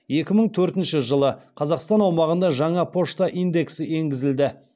екі мың төртінші жылы қазақстан аумағында жаңа пошта индексі енгізілді